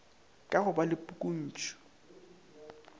ka go ba le pukuntšu